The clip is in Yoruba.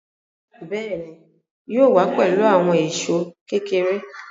Béèni, yóò wá pẹ̀lú àwọn èṣó kékeré